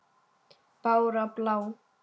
Bára blá!